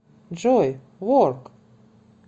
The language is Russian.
джой ворк